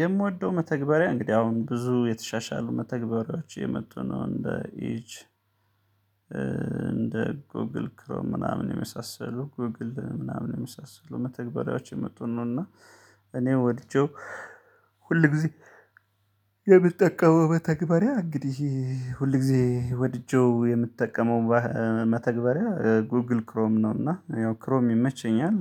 የምወደው መተግበሪያ እንግዲህ አሁን ብዙ የተሻሻሉ መተግበሪያዎች እየመጡ ነው እንደ ኢጅ እንደ ጎግል ክሮም ምናምን የመሳሰሉ ጎግል ምናምን የመሳሰሉ መተግበሪያዎች አየመጡ ነውና። እኔ ወድጄው ሁልጊዜ የምጠቀመው መተግበሪያ እንግዲህ ሁልጊዜ ወድጄው የምትጠቀመው መተግበሪያ ጉግል ክሮም ነውና ያው ክሮም ይመቸኛል።